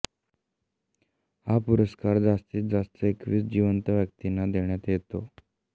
हा पुरस्कार जास्तीत जास्त एकवीस जिवंत व्यक्तींना देण्यात येतो